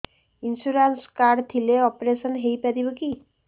insurance card ଥିଲେ operation ହେଇପାରିବ କି